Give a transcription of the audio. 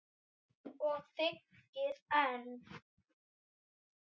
Og þykir enn.